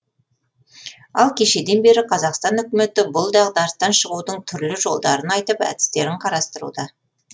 ал кешеден бері қазақстан үкіметі бұл дағдарыстан шығудың түрлі жолдарын айтып әдістерін қарастыруда